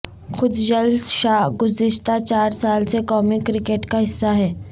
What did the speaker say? خوشدل شاہ گذشتہ چار سال سے قومی کرکٹ کا حصہ ہیں